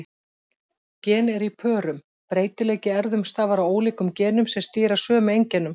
Gen eru í pörum: Breytileiki í erfðum stafar af ólíkum genum sem stýra sömu einkennum.